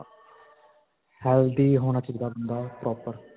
healthy ਹੋਣਾ ਚਾਹੀਦਾ ਬੰਦਾ proper.